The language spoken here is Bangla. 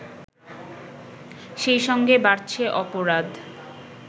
সেই সঙ্গে বাড়ছে অপরাধ